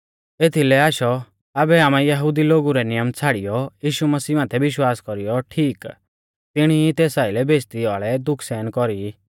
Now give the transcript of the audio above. एथीलै आशौ आबै आमै यहुदी लोगु रै नियम छ़ाड़ियौ यीशु मसीह माथै विश्वास कौरीयौ ठीक तिणी ई तेस आइलै बेइज़्ज़ती वाल़ै दुख सहन कौरी